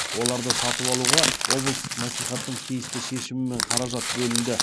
оларды сатып алуға облыстық мәслихаттың тиісті шешімімен қаражат бөлінді